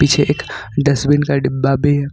पीछे एक डस्टबिन का डिब्बा भी है।